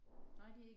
Nej det ikke